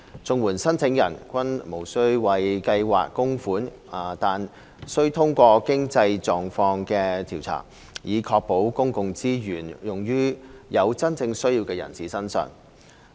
綜援申請人均無須為計劃供款，但須通過經濟狀況調查，以確保公共資源用於真正有需要的人士身上。